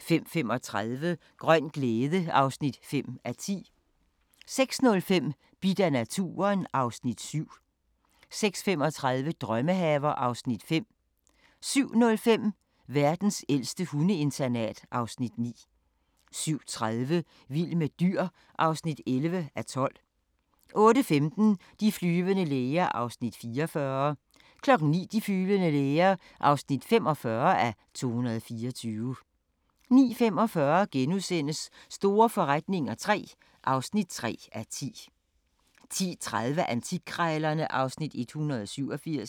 05:35: Grøn glæde (5:10) 06:05: Bidt af naturen (Afs. 7) 06:35: Drømmehaver (Afs. 5) 07:05: Verdens ældste hundeinternat (Afs. 9) 07:30: Vild med dyr (11:12) 08:15: De flyvende læger (44:224) 09:00: De flyvende læger (45:224) 09:45: Store forretninger III (3:10)* 10:30: Antikkrejlerne (Afs. 187)